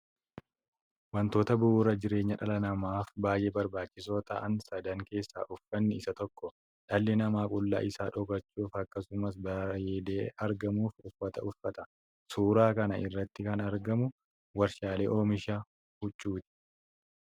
Wantoota bu'uura jireenyaa dhala namaaf baay'ee barbaachisoo ta'an sadan keessaa uffanni isa tokko. Dhalli namaa qullaa isaa dhokfachuuf akkasumas bareedee argamuuf uffata uffata. Suuraa kana irratti kan argamu warshaa oomisha huccuuti.